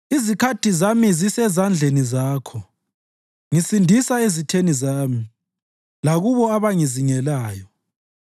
Izikhathi zami zisezandleni Zakho; ngisindisa ezitheni zami lakulabo abangizingelayo.